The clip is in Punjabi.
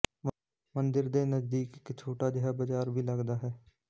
ਮੰਦਿਰ ਦੇ ਨਜ਼ਦੀਕ ਇੱਕ ਛੋਟਾ ਜਿਹਾ ਬਾਜ਼ਾਰ ਵੀ ਲੱਗਦਾ ਹੈ